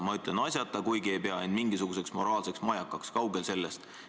Ma ütlen "asjata", kuigi ei pea end mingisuguseks moraalseks majakaks, kaugel sellest.